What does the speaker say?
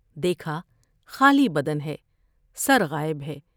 دیکھا خالی بدن ہے ، سرغا ئب ہے ۔